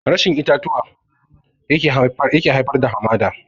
Rashin itatuwa yake haifar da hamada